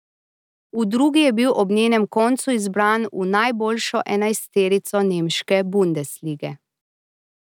V drugi je bil ob njenem koncu izbran v najboljšo enajsterico nemške bundeslige.